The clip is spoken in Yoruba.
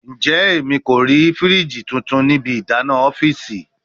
Njẹ Emi ko rii firiji tuntun ni ibi idana ọfiisi?